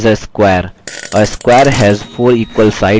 text this is a square